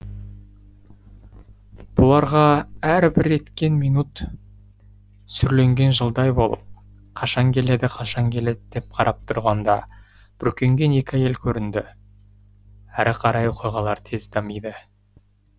бұларға әр бір еткен минут сүрленген жылдай болып қашан келеді қашан келеді деп қарап тұрғанда бүркенген екі әйел көрінді әрі қарай оқиғалар тез дамиды